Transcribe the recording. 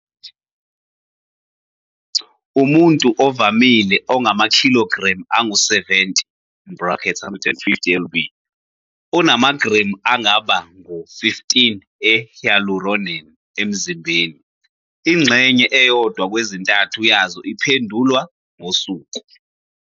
Umuntu ovamile ongamakhilogremu angu-70, 150 lb, unamagremu angaba ngu-15 e-hyaluronan emzimbeni, ingxenye eyodwa kwezintathu yazo iphendulwa, okungukuthi, ihlakazekile futhi yenziwe, ngosuku.